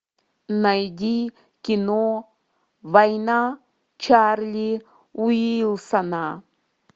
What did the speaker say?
найди кино война чарли уилсона